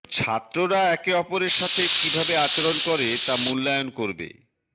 ছাত্ররা একে অপরের সাথে কিভাবে আচরণ করে তা মূল্যায়ন করবে